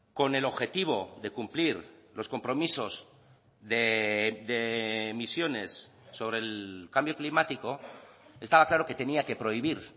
con el objetivo de cumplir los compromisos de emisiones sobre el cambio climático estaba claro que tenía que prohibir